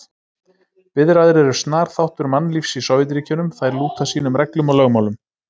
Biðraðir eru snar þáttur mannlífs í Sovétríkjunum, þær lúta sínum reglum og lögmálum.